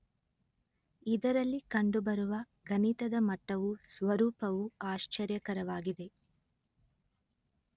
ಇದರಲ್ಲಿ ಕಂಡುಬರುವ ಗಣಿತದ ಮಟ್ಟವೂ ಸ್ವರೂಪವೂ ಆಶ್ಚರ್ಯಕರವಾಗಿದೆ